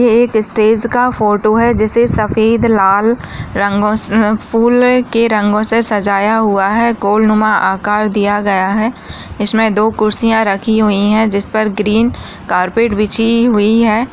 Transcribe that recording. ये एक स्टेज का फोटो है। जिसे सफ़ेद लाल रंगोसे फूल के रंगोसे सजाया हुआ है। गोल्ड मा आकार दिया गया है। इसमे दो कुर्सिया राखी हुई है। जिसपर ग्रीन कार्पेट बिछी हुई है।